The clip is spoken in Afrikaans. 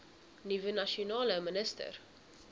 nuwe nasionale minister